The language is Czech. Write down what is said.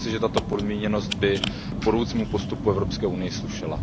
Myslím si, že tato podmíněnost by budoucímu postupu Evropské unie slušela.